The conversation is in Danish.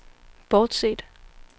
bortset